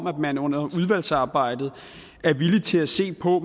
at man under udvalgsarbejdet er villig til at se på